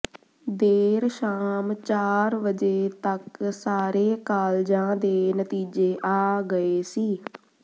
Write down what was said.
ਦੇਰ ਸ਼ਾਮ ਚਾਰ ਵਜੇ ਤਕ ਸਾਰੇ ਕਾਲਜਾਂ ਦੇ ਨਤੀਜੇ ਆ ਗਏ ਸੀ